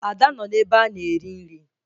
Ada nọ n'ebe a na-eri nri